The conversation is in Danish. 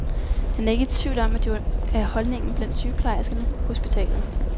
Han er ikke i tvivl om, at det er holdningen blandt sygeplejerskerne på hospitalet.